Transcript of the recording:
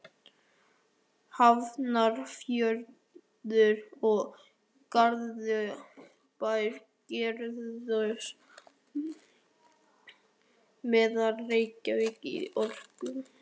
Hafnarfjörður og Garðabær gerðust meðeigendur Reykjavíkurborgar í Orkuveitu